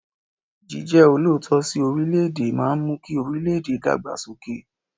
Jíjẹ́ olóòótọ́ sí orílẹ̀ẹ̀dè máa ń mú kí orílẹ̀ẹ̀dè dàgbà sókè.